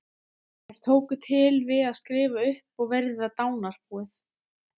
Þeir tóku til við að skrifa upp og virða dánarbúið.